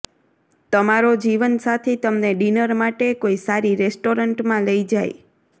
તમારો જીવનસાથી તમને ડિનર માટે કોઈ સારી રેસ્ટોરેન્ટ માં લઇ જાય